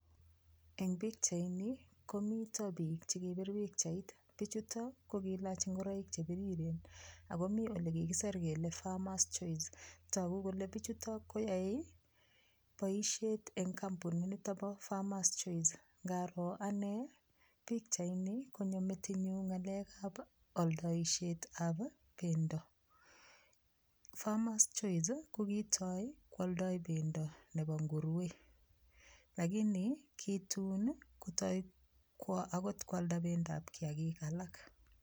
Eng' pikchaini komito biik chikipir pikchait bichutok ko kiilach ngoroik chepiriren akomi ole kikiser kele farmer's choice toku kole bichuto koyoei boishet eng' kampunit nito bo farmer's choice ngaro ane pikchaini konyo metinyu ng'alekab oldoishetab pendo farmer's choice ko kitoi kwoldoi pendo nebo nguruwe lakini kitun kotoi kwo akot kwalda akot pendoab kiyakik alak